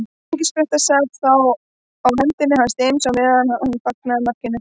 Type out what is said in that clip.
Engispretta sat þá á hendinni á James á meðan hann fagnaði markinu.